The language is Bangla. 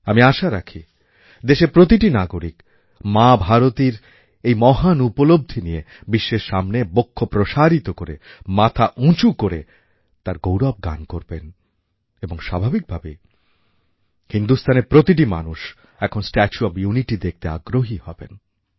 আমি আশা রাখি দেশের প্রতিটি নাগরিক মা ভারতীর এই মহান উপলব্ধি নিয়ে বিশ্বের সামনে বক্ষ প্রসারিত করে মাথা উঁচু করে তার গৌরব গান করবেন এবং স্বাভাবিক ভাবেই হিন্দুস্থানের প্রতিটি মানুষ এখন স্ট্যাচু অব ইউনিটি দেখতে আগ্রহী হবেন